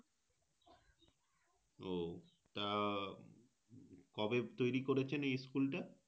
তো তা কবে তৈরী করেছেন এই School টা